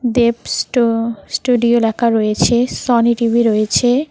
দেবস স স্টুডিও লেখা রয়েছে সোনি টি_ভি রয়েছে।